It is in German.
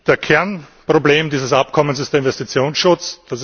Das Kernproblem dieses Abkommens ist der Investitionsschutz.